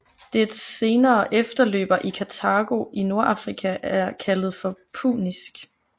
Dets senere efterløber i Kartago i Nordafrika er kaldet for punisk